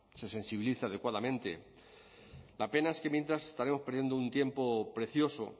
se sensibilice adecuadamente la pena es que mientras estaremos perdiendo un tiempo precioso